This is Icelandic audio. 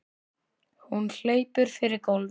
Hún hleypur yfir gólfið.